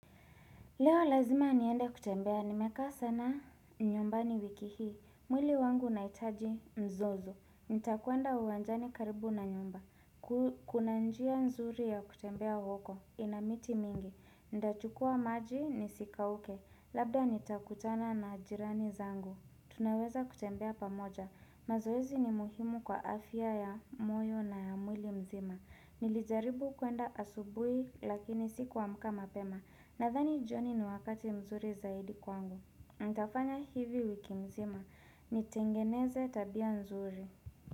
Leo lazima niende kutembea, nimekaa sana nyumbani wiki hii, mwili wangu unaitaji mzozo, nitakwenda uwanjani karibu na nyumba, kuna njia nzuri ya kutembea huko, ina miti mingi, ntachukua maji nisikauke, labda nitakutana na jirani zangu, tunaweza kutembea pamoja, mazoezi ni muhimu kwa afya ya moyo na ya mwili mzima, nilijaribu kwenda asubuhi lakini sikuamka mapema nathani joni ni wakati mzuri zaidi kwangu ntafanya hivi wiki mzima Nitengeneze tabia nzuri.